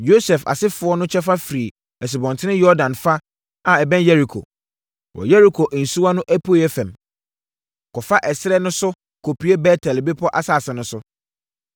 Yosef asefoɔ no kyɛfa firi Asubɔnten Yordan fa a ɛbɛn Yeriko, wɔ Yeriko nsuwa no apueeɛ fam, kɔfa ɛserɛ no so kɔpue Bet-El bepɔ asase no so.